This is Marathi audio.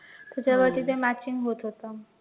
त्याच्यावरती ते matching होतं होतं